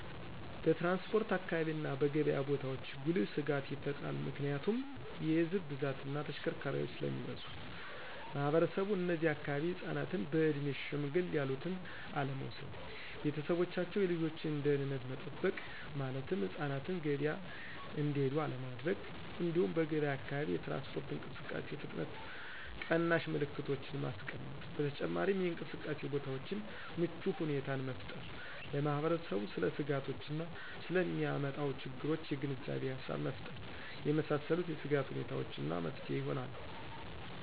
በትራንስፖርት አካባቢ እና በገብያ ቦታዎች ጉልህ ስጋት ይፈጥራል ምክንያቱም የህዝብ ብዛት እና ተሽከርካሪዎች ስለሚበዙ። ማህበረሰቡ እነዚህ አካባቢ ህፃናትን በእድሜ ሸምገል ያሉትን አለመውሰድ። ቤተሰቦቻቸው የልጆችን ደህንነት መጠበቅ ማለትም ህፃናትን ገበያ እንዲሄዱ አለማድረግ። እንዲሁም በገብያ አካባቢ የትራንስፖርት እንቅስቃሴ ፍጥነት ቀናሽ ምልክቶችን ማስቀመጥ። በተጨማሪም የእንቅስቃሴ ቦታዎችን ምቹ ሁኔታን መፍጠር። ለማህበረሰቡ ስለ ስጋቶች እና ስለ ሚያመጣው ችግሮች የግንዛቤ ሃሳብ መፍጠር የመሳሰሉት የስጋት ሁኔታዎች እና መፍትሄ ይሆናሉ።